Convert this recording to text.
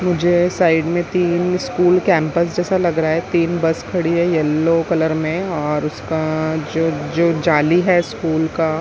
मुझे साइड में तीन स्कूल कैंपस जैसा लग रहा है तीन बस खड़ी है येलो कलर में और उसका जो जो जाली है स्कूल का--